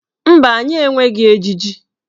Mba, anyị enweghị ejiji.